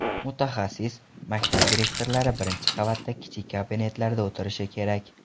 Mutaxassis: Maktab direktorlari birinchi qavatda, kichik kabinetlarda o‘tirishi kerak.